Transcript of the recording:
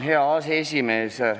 Hea aseesimees!